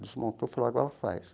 Desmontou, falou, agora faz.